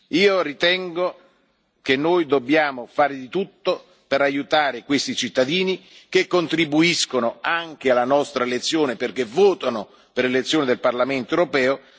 Io ritengo che noi dobbiamo fare di tutto per aiutare questi cittadini che contribuiscono anche alla nostra elezione, perché votano per l'elezione del Parlamento europeo.